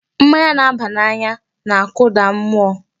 Mmanya na-aba n'anya na-akụda mụọ.